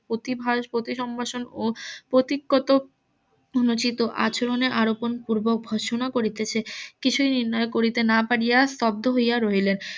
প্রতিভাস পতিসম্ভাষণ ও প্রতিকগত অনুচিত আচরণের আরো কোন পূর্ব ঘোষণা করিতেছে কিছু নির্ণয় না করিতে পারিয়া স্তব্ধ হইয়া রইলেন